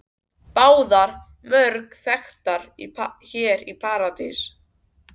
Báðar mjög þekktar hér í París.